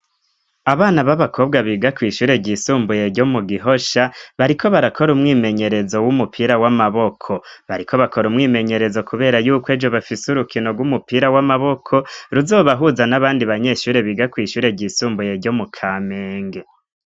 Abana b'abakobwa biga kw'ishure ryisumbuye ryo mu gihosha bariko barakora umwimenyerezo w'umupira w'amaboko. Bariko bakora umwimenyerezo kubera yuko ejo bafise urukino rw'umupira w'amaboko ruzobahuza n'abandi banyeshure biga kw'ishure ryisumbuye ryo mu Kamenge.